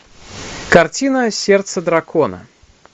картина сердце дракона